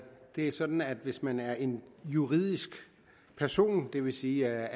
er sådan at hvis man er en juridisk person det vil sige